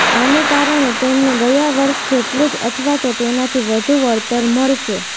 આને કારણે તેમને ગયા વર્ષ જેટલું જ અથવા તો તેનાથી વધુ વળતર મળશે